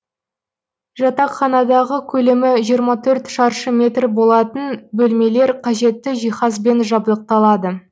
жатақханадағы көлемі жиырма төрт шаршы метр болатын бөлмелер қажетті жиһазбен жабдықталады